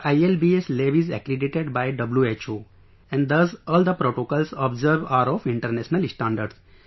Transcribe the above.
Our ILBS lab is accredited by WHO, and thus all the protocols observed are of international standards